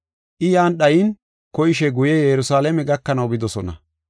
I yan dhayin koyishe guye Yerusalaame gakanaw bidosona.